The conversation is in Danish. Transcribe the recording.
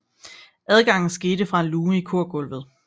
Adgangen skete fra en luge i korgulvet